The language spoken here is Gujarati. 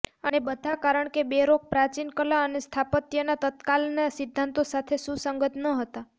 અને બધા કારણ કે બેરોક પ્રાચીન કલા અને સ્થાપત્યના તત્કાલનાં સિદ્ધાંતો સાથે સુસંગત ન હતા